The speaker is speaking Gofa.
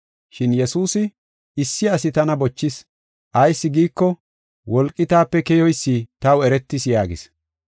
Shin Yesuusi, “Issi asi tana bochis; ayis giiko, wolqi taape keyoysi taw eretis” yaagis.